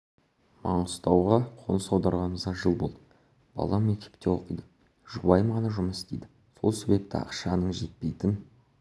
маңғыстауға қоныс аударғанымызға жыл болды балам мектепте оқиды жұбайым ғана жұмыс істейді сол себепті ақшаның жетпейтін